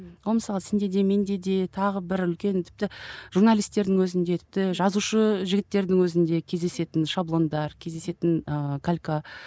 ол мысалы сенде де менде де тағы бір үлкен тіпті журналистердің өзінде тіпті жазушы жігіттердің өзінде кездесетін шаблондар кездесетін ыыы калька